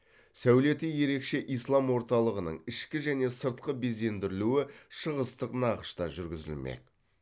сәулеті ерекше ислам орталығының ішкі және сыртқы безендірілуі шығыстық нақышта жүргізілмек